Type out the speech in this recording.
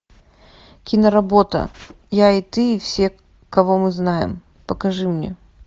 киноработа я и ты и все кого мы знаем покажи мне